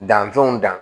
Danfɛnw dan